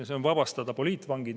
See on vabastada poliitvangid.